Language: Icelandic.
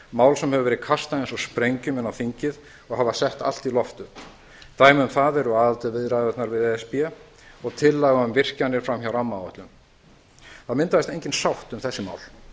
mál sem hefur verið kastað eins og sprengjum inn á þingið og hafa sett allt í loft upp dæmi um það eru aðildarviðræðurnar við e s b og tillaga um virkjanir fram hjá rammaáætlun það myndaðist engin sátt um þessi mál